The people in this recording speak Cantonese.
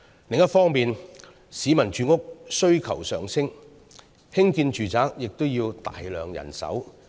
此外，市民的住屋需求上升，興建住宅也要大量人手。